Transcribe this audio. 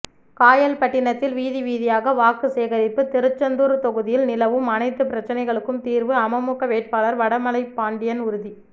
காயல்பட்டினத்தில் வீதிவீதியாக வாக்குசேகரிப்பு திருச்செந்தூர் தொகுதியில் நிலவும் அனைத்து பிரச்னைகளுக்கும் தீர்வு அமமுக வேட்பாளர் வடமலைபாண்டியன் உறுதி